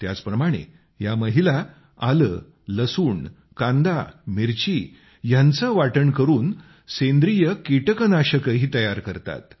त्याचप्रमाणे या महिला आले लसूण कांदा मिरची ह्यांचे वाटण करून सेंद्रिय कीटकनाशकही तयार करतात